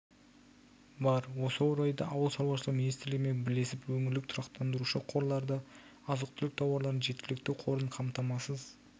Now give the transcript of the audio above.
бар осы орайда ауыл шаруашылығы министрлігімен бірлесіп өңірлік тұрақтандырушы қорларда азық-түлік тауарларының жеткілікті қорын қамтамасыз